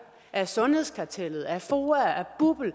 af sundhedskartellet af foa af bupl af